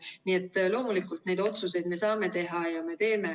Nii et loomulikult, neid otsuseid me saame teha ja me teeme.